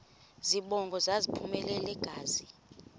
zibongo zazlphllmela engazi